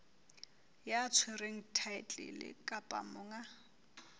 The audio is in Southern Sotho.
ya tshwereng thaetlele kapa monga